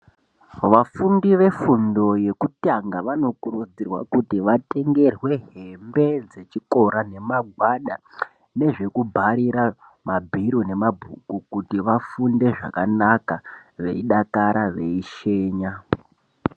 vafundi vefundo yekutanga vanokurudzirwa kuti vatengerwe hembe dzechikora nemagwada nezvekubharira mabhiro nemabhuku. Kuti vafunde zvakanaka veidakara veishenya.